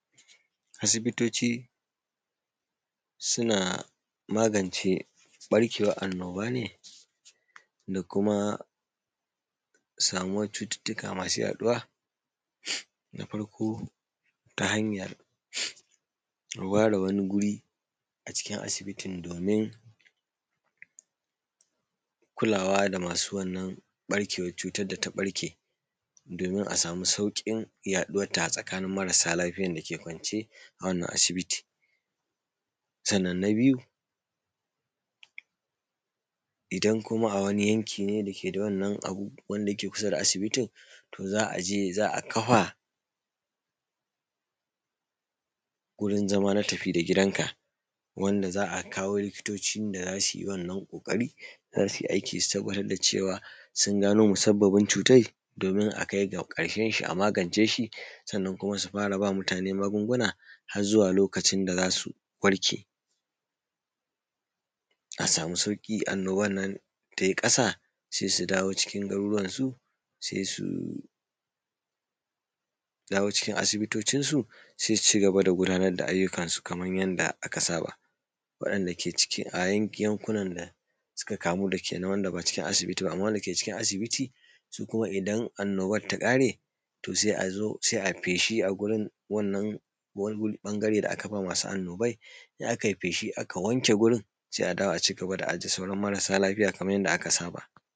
Asibitoci suna magance ɓarkewan annoba ne da kuma samuwan cututtuka masu yaɗuwa, na farko ta hanyar ware wani guri a cikin asibitin domin kulawa da masu wannan barkewa cutar da ta ɓarke domin a samu saukin yaɗuwar ta a tsakanin marasa lafiya da ke ƙwance a wannan asibitin, sannan na biyu idan kuma a wani yanki ne da ke da wannan abun wanda yake ƙusa da asibitin, to za a je za a kafa wurin zama na tafi da gidan ka wanda za a kawo likitoci da zasu yi wannan ƙokarin zasu aiki su tabbatar da cewa sun gano musababin cutar domin akai ga karshen shi a magance shi sannan kuma su far aba mutane magunguna har zuwa lokacin da zasu warke, a samu sauki annoban nan tai kasa sai su dawo cikin garuruwan su sai su dawo cikin asibitocin su sai su cigaba da gudanar da ayyukan kamar yadda aka saba, waɗanɗa ke ciki a yankunan da suka kamu wand aba cikin asibiti ba amma wanda ke cikin asibiti su kuma idan annoban ta kare to sai a zo ayi feshi a gurin wannan ɓangare da aka ba masu annoban in aka yi feshin aka wanke gurin sai a dawo a cigaba da ajiye sauran mara lafiyan kamar yadda aka saba.